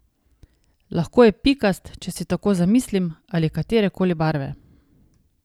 Lahko je pikast, če si tako zamislim, ali katere koli barve.